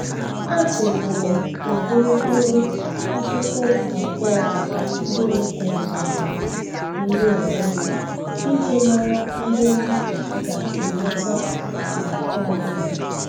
Atụlere m ụdị mkpụrụ akụkụ abụọ dị m kụrụ n'ala yiri onwe iji mara ihe m ga-enweta na nke ọbụla